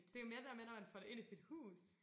Det mere det der med når man får det ind i sit hus